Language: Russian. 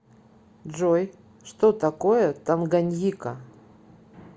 джой что такое танганьика